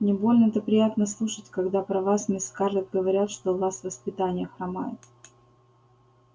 не больно-то приятно слушать когда про вас мисс скарлетт говорят что у вас воспитание хромает